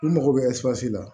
U mago bɛ la